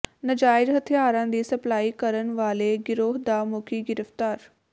ਨਾਜਾਇਜ਼ ਹਥਿਆਰਾਂ ਦੀ ਸਪਲਾਈ ਕਰਨ ਵਾਲੇ ਗਿਰੋਹ ਦਾ ਮੁਖੀ ਗਿ੍ਫ਼ਤਾਰ